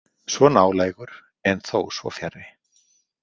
Svo nálægur en þó svo fjarri.